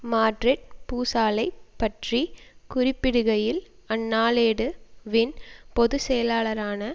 Madrid பூசலைப் பற்றி குறிப்பிடுகையில் அந்நாளேடு வின் பொதுச்செயலாளரான